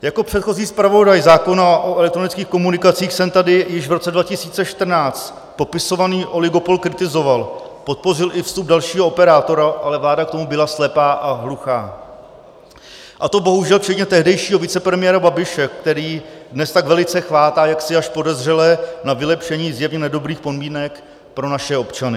Jako předchozí zpravodaj zákona o elektronických komunikacích jsem tady již v roce 2014 popisovaný oligopol kritizoval, podpořil i vstup dalšího operátora, ale vláda k tomu byla slepá a hluchá, a to bohužel včetně tehdejšího vicepremiéra Babiše, který dnes tak velice chvátá, jaksi až podezřele, na vylepšení zjevně nedobrých podmínek pro naše občany.